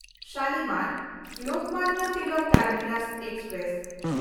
Shalimar-Lokmanya Tilak terminus express